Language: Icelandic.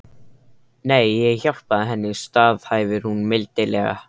Nei, ég hjálpaði henni, staðhæfir hún mildilega.